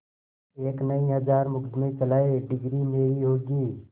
एक नहीं हजार मुकदमें चलाएं डिगरी मेरी होगी